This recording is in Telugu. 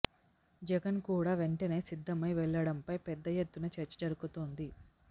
జగన్ కూడా వెంటనే సిద్ధమై వెళ్లడంపై పెద్ద ఎత్తున చర్చ జరుగుతోంది